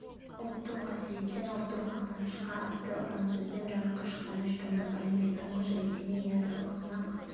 ұлттық қасіреттен ұлттық мақтанышқа атты ұрансөзбен жарыққа шыққан үш томдық әлемде тұңғыш рет семей ядролық сынақ